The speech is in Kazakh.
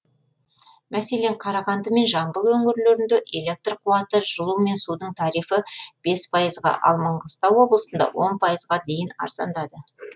мәселен қарағанды мен жамбыл өңірлерінде электр қуаты жылу мен судың тарифі бес пайызға ал маңғыстау облысында он пайызға дейін арзандады